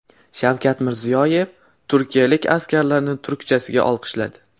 Shavkat Mirziyoyev turkiyalik askarlarni turkchasiga olqishladi .